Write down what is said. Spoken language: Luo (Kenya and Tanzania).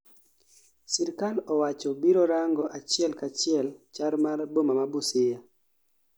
sirkal owacho biro rango achiel kachiel chal mar boma ma Busia